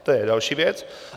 To je další věc.